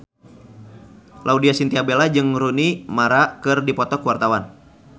Laudya Chintya Bella jeung Rooney Mara keur dipoto ku wartawan